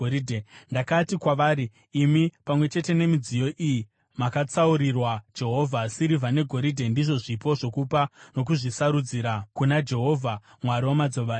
Ndakati kwavari, “Imi pamwe chete nemidziyo iyi makatsaurirwa Jehovha. Sirivha negoridhe ndizvo zvipo zvokupa nokuzvisarudzira kuna Jehovha, Mwari wamadzibaba enyu.